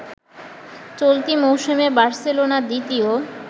চলতি মৌসুমে বার্সেলোনা দ্বিতীয়